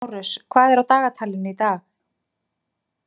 Márus, hvað er á dagatalinu í dag?